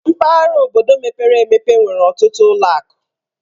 Mpaghara obodo mepere emepe nwere ọtụtụ ụlọ akụ.